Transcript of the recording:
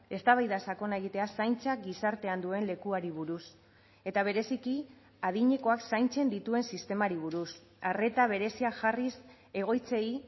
eztabaida sakona egitea zaintzak gizartean duen lekuari buruz eta bereziki adinekoak zaintzen dituen sistemari buruz arreta berezia jarriz egoitzei